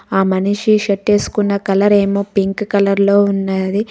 ఆ మనిషి షర్ట్ వేసుకున్న కలర్ ఏమో పింక్ కలర్ లో ఉన్నది.